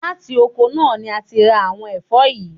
Láti oko náà ni a ti ń ra àwon ẹ̀fọ́ yìí.